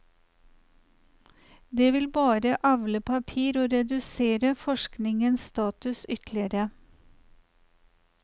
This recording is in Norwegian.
Det vil bare avle papir og redusere forskningens status ytterligere.